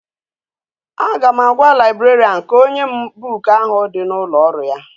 A ga m agwa librarian ka onye m book ahu di na ulo oru ya